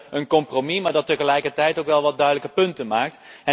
Wij willen een compromis, dat tegelijkertijd ook wel wat duidelijke punten maakt.